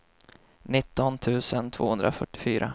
nitton tusen tvåhundrafyrtiofyra